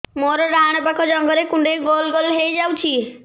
ମୋର ଡାହାଣ ପାଖ ଜଙ୍ଘରେ କୁଣ୍ଡେଇ ଗୋଲ ଗୋଲ ହେଇଯାଉଛି